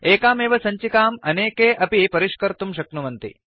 एकामेव सञ्चम्काम् अनेके अपि परिष्कर्तुं शक्नुवन्ति